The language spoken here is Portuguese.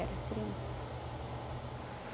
Era criança.